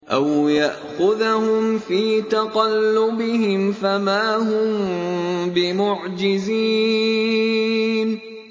أَوْ يَأْخُذَهُمْ فِي تَقَلُّبِهِمْ فَمَا هُم بِمُعْجِزِينَ